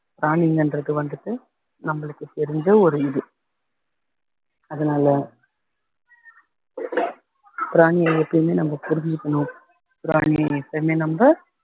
பிராணிங்கன்றது வந்துட்டு நம்மளுக்கு தெரிஞ்ச ஒரு இது அதனால பிராணியை எப்பையுமே நம்ம புரிஞ்சுக்கணும் பிராணியை எப்பையுமே நம்ம